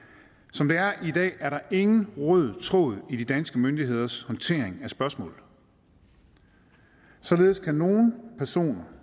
som det er i dag er der ingen rød tråd i de danske myndigheders håndtering af spørgsmålet således kan nogle personer